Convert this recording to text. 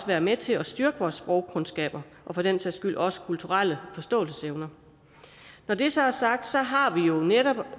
være med til at styrke vores sprogkundskaber og for den sags skyld også vores kulturelle forståelsesevne når det så er sagt har vi netop